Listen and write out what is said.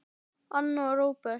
Anna og Róbert.